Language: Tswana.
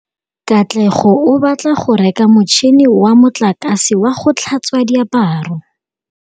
Katlego o batla go reka motšhine wa motlakase wa go tlhatswa diaparo.